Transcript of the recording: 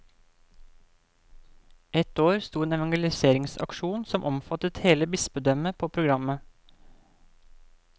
Et år sto en evangeliseringsaksjon som omfattet hele bispedømmet på programmet.